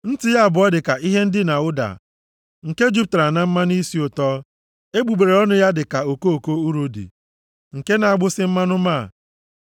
Nti ya abụọ dị ka ihe ndina ụda + 5:13 Ụda nwere isisi ọma nke na-eme mmadụ obi ụtọ. nke jupụtara na mmanụ isi ụtọ. Egbugbere ọnụ ya dị ka okoko urodi, nke na-agbụsị mmanụ máá.